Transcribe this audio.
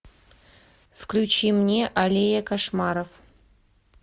включи мне аллея кошмаров